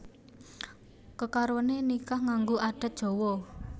Kekaroné nikah nganggo adat Jawa